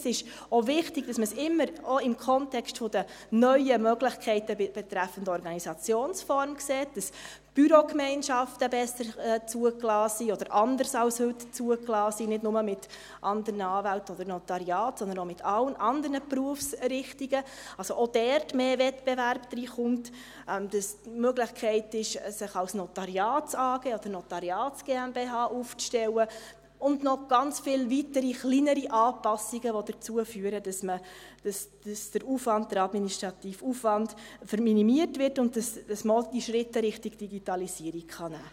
Es ist auch wichtig, dass man es immer auch im Kontext der neuen Möglichkeiten betreffend Organisationsform betrachtet: dass Bürogemeinschaften besser oder anders als heute zugelassen sind – nicht nur mit anderen Anwälten oder Notariaten, sondern auch mit allen anderen Berufsrichtungen –, dass also auch dort mehr Wettbewerb hineinkommt, dass es die Möglichkeit gibt, sich als NotariatsAG oder als Notariats-GmbH aufzustellen, und noch ganz viele weitere kleinere Anpassungen, die dazu führen, dass der administrative Aufwand minimiert wird und man auch die Schritte in Richtung Digitalisierung machen kann.